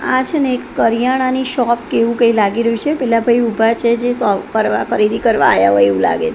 આ છેને એક કરિયાણાની શૉપ કે એવુ કઈ લાગી રહ્યુ છે પેલા ભઈ ઊભા છે જે શૉપ પર ખરીદી કરવા આયા હોય એવુ લાગે--